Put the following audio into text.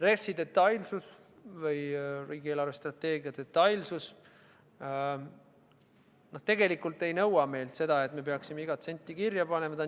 Riigi eelarvestrateegia detailsus tegelikult ei nõua meilt seda, et peaksime iga sendi kirja panema.